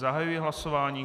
Zahajuji hlasování.